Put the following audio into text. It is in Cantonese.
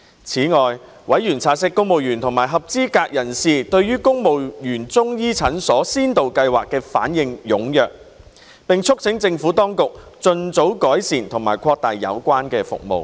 此外，委員察悉公務員及合資格人士對公務員中醫診所先導計劃反應踴躍，並促請政府當局盡早改善及擴大有關服務。